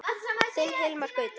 Þinn Hilmar Gauti.